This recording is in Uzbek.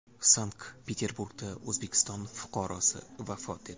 Sankt-Peterburgda O‘zbekiston fuqarosi vafot etdi.